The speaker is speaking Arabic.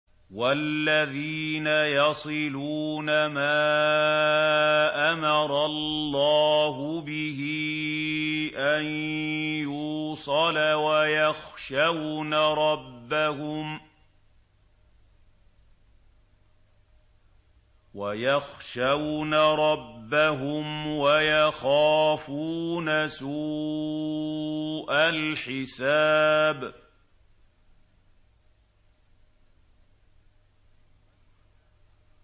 وَالَّذِينَ يَصِلُونَ مَا أَمَرَ اللَّهُ بِهِ أَن يُوصَلَ وَيَخْشَوْنَ رَبَّهُمْ وَيَخَافُونَ سُوءَ الْحِسَابِ